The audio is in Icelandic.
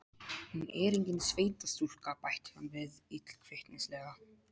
Hún er engin sveitastúlka, bætti hann við illkvittnislega.